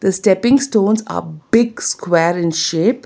The stepping stones are big square in shape.